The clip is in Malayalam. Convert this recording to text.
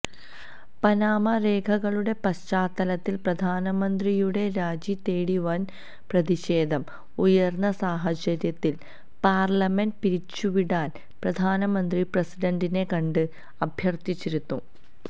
പനാമ രേഖകളുടെ പശ്ചാത്തലത്തില് പ്രധാനമ്രന്തിയുടെ രാജിതേടി വന് പ്രതിഷേധം ഉയര്ന്ന സാഹചര്യത്തില് പാര്ലമെന്റ് പിരിച്ചുവിടാന് പ്രധാനമന്ത്രി പ്രസിഡന്റിനെ കണ്ട് അഭ്യര്ഥിച്ചിരുന്നു